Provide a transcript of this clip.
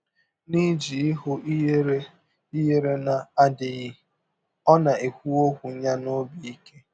N’iji ihụ ihere ihere na - adịghị, ọ na - ekwụ ọkwụ ya n’ọbi ike.